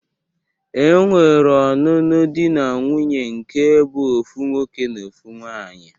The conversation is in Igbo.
E nwere ọnụnụ di na nwuńye nke bụ ofu nwoke na ofu nwaanyi.